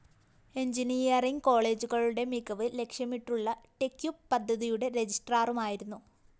engineering കോളേജുകളുടെ മികവ് ലക്ഷ്യമിട്ടുള്ള ടെക്യുപ് പദ്ധതിയുടെ രജിസ്ട്രാറുമായിരുന്നു